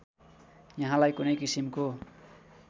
यहाँलाई कुनै किसिमको